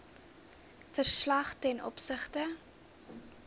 verslag ten opsigte